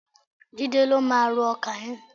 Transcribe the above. Jídé ló máa ró ọkà yẹn.